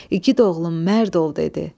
İgid oğlum, mərd ol dedi.